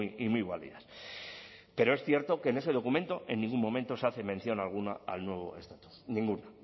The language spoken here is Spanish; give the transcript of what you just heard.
y muy válidas pero es cierto que en ese documento en ningún momento se hace mención alguna al nuevo estatus ninguna